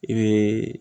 I bɛ